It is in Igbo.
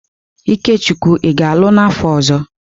Ikechukwu ị ga-alụ n'afọ ọzọ!